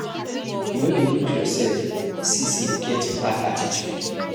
You no dey look yoursef see sey you get bad attitude?